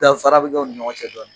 Danfara bɛ kɛ u ni ɲɔgɔn cɛ dɔɔnin.